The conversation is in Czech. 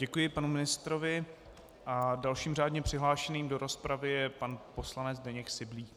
Děkuji panu ministrovi a dalším řádně přihlášeným do rozpravy je pan poslanec Zdeněk Syblík.